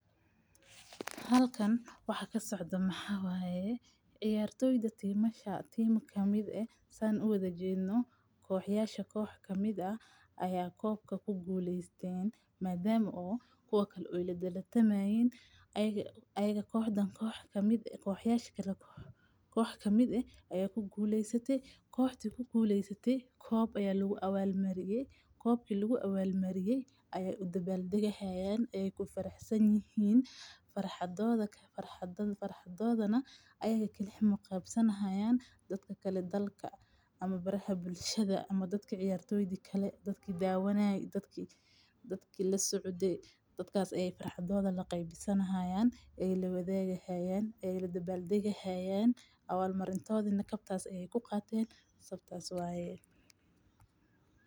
Halkan waxa ka socda Maxaayee. Ciyaartoyda timaa shaa tiima kamid ah saan u wada jeedno. Kooxayaasha koox ka mida ah ayaa koobka ku guuleysteen maadaama oo koobka u iledelatamaayeen. Ayaga ayaga kooxdan koox ka mid ah kooxayaash kala koox. Koox ka mid ah ayaa ku guuleysatay, kooxtii ku guuleysatay. Koob ayaa lagu awaal mariyey. Koobkii lagu awaal maryaye aya dabaldaga hayeen ay ku faraxsan yihiin. Farxadooda ka farxadood farxadoodana ayaga keli xamu qaabsan ahaayaan dadka kale dalka ama baraha bulshada ama dadka ciyaartooyadii kale. Dadki daawanaay dadki dadki la socoday dadkaas ay farxadooda la qeybtsanahay ee la wada heeyay, ee la dabaldaga heyan, awaal marintood inna kabtaas ayay ku qaateen sabtaas waaye.